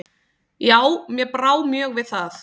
Já, mér brá mjög við það.